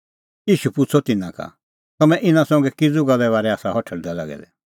ईशू पुछ़अ तिन्नां का तम्हैं इना संघै किज़ू आसा हठल़दै लागै दै